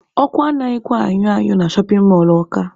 Ọkụ anaghịkwa anyụ anyụ na shọpin mọlụ Ọka.